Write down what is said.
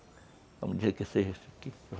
Vamos dizer que seja isso aqui.